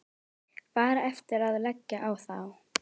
Bara eftir að leggja á þá.